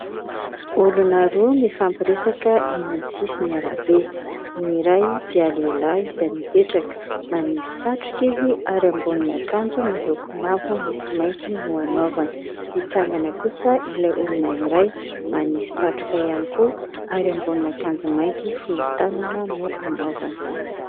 Olona roa mifampiresaka eny amin'ny sisin'arabe. Ny iray dia lehilahy izay mipetraka, manisy satroka izy ary ambonin'akanjo miloko mavo misy mainty no hanaovany. Mitsangana kosa ilay olona iray, manisy satroka ihany koa ary ambonin'akanjo mainty fohy tanana no hanaovany.